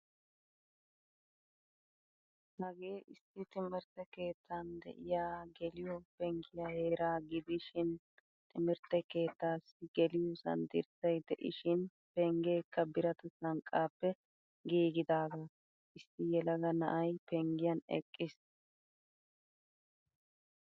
Hagee issi timirttee keettan deiya geliyo pengiya heera gidishin timirtte keettaasi geliyosan dirssay deishin penggekka biratta sanqqape giigidaga. Issi yelaga na'ay penggiyan eqqiis.